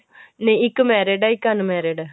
ਨਹੀਂ ਇੱਕ married ਏ ਇੱਕ unmarried ਏ